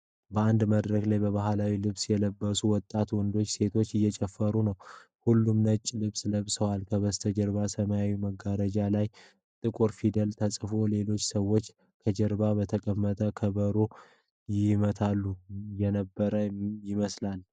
በአንድ መድረክ ላይ ባህላዊ ልብስ የለበሱ ወጣት ወንዶችና ሴቶች እየጨፈሩ ነው። ሁሉም ነጭ ልብስ ለብሰዋል። ከበስተጀርባ ሰማያዊ መጋረጃ ላይ ጥቁር ፊደላት ተጽፈዋል። ሌሎች ሰዎች ከበስተጀርባ በተቀመጠው ከበሮ ይመቱ የነበር ይመስላልን?